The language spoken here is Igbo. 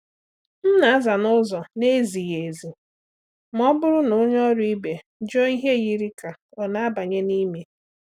M na-aza n’ụzọ na-ezighị ezi ma ọ bụrụ na onye ọrụ ibe jụọ ihe yiri ka ọ na-abanye n’ime.